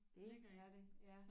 Det er det ja